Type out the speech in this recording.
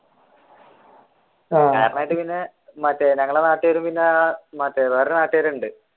പിന്നെ മറ്റേ ഞങ്ങളുടെ നാട്ടുകാരും പിന്നെ മറ്റേ വേറെയൊരു നാട്ടുകാരുമുണ്ട്.